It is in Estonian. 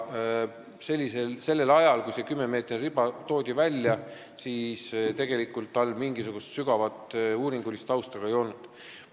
Sellel ajal, kui selle 10-meetrise riba kasuks otsustati, tegelikult mingisugust sügavat uuringulist tausta seal ei olnud.